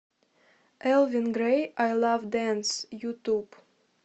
элвин грэй ай лав дэнс ютуб